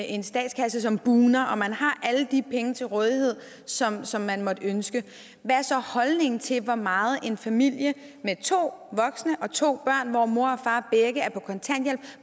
en statskasse som bugner og man har alle de penge til rådighed som som man måtte ønske hvad er så holdningen til hvor meget en familie med to voksne og to børn hvor mor